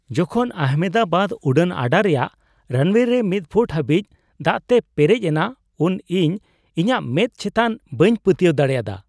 ᱡᱚᱠᱷᱚᱱ ᱟᱦᱚᱢᱮᱫᱟᱵᱟᱫ ᱩᱰᱟᱹᱱ ᱟᱰᱟ ᱨᱮᱭᱟᱜ ᱨᱟᱱᱣᱮ ᱨᱮ ᱢᱤᱫ ᱯᱷᱩᱴ ᱦᱟᱹᱵᱤᱡ ᱫᱟᱜᱛᱮ ᱞᱮᱨᱮᱡ ᱮᱱᱟ ᱩᱱ ᱤᱧ ᱤᱧᱟᱹᱜ ᱢᱮᱸᱫ ᱮᱪᱛᱟᱱ ᱵᱟᱹᱧ ᱯᱟᱹᱛᱭᱟᱹᱣ ᱫᱟᱲᱮᱭᱟᱫᱟ ᱾